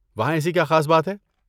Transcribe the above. وہاں ایسی کیا خاص بات ہے؟